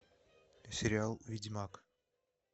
сериал ведьмак